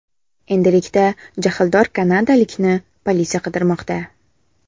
Endilikda jahldor kanadalikni politsiya qidirmoqda.